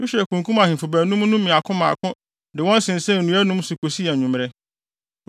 Yosua kunkum ahemfo baanum no mmaako mmaako de wɔn sensɛn nnua anum so kosii anwummere.